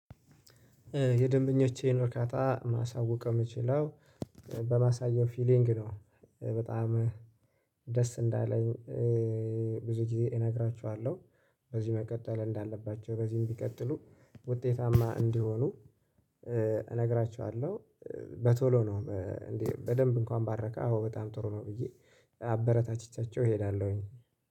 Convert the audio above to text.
የደንበኞቼን እርካታ ማሳወቅ የምችለው በማሳየው ፊሊንግ ነው። በጣም ደስ እንዳለኝ ብዙ ጊዜ እነግራቸኋለሁ። በዚህ መቀጠል እንዳለባቸው በዚህም ቢቀጥሉ ውጤታማ እንዲሆኑ እነግራቸኋለሁ። በቶሎ ነው እንዴ? በደንብ እንኳን ባረካ አዎ በጣም ጥሩ ነው ብዬ አበረታችቻቸው እሄዳለሁኝ